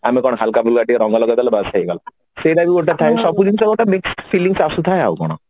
ଆମେ କଣ ହାଲକା ଫୁଲକାରେ ଟିକେ ରଙ୍ଗ ଲଗେଇଦେଲେ ବାସ ହେଇଗଲା ସେଇଟା ବି ଗୋଟେ ଥାଏ ସବୁ ଜିନିଷ ଗୋଟେ mixed fillings ଆସୁଥାଏ ଆଉ କଣ